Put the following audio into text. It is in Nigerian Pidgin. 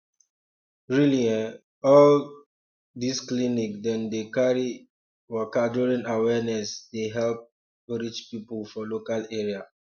really eh all um this um this clinic dem dey carry um waka during awareness dey help um reach people for local area